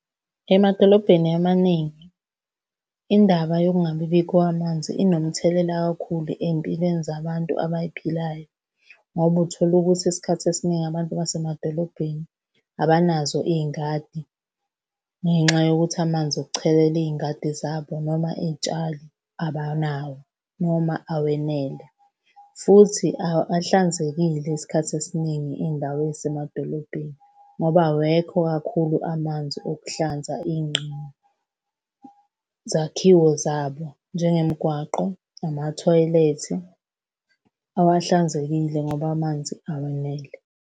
Emadolobheni amaningi, indaba yokungabi bikho kwamanzi inomthelela kakhulu ey'mpilweni zabantu abay'philayo, ngoba uthola ukuthi isikhathi esiningi abantu basemadolobheni abanazo iy'ngadi ngenxa yokuthi amanzi okuchelela iy'ngadi zabo noma iy'tshalo abanawo, noma awenele, futhi awahlanzekile Isikhathi esiningi iy'ndawo ey'semadolobheni ngoba awekho kakhulu amanzi okuhlanza . Zakhiwo zabo, njengemigwaqo, amathoyilethi, awahlanzekile ngoba amanzi awenele.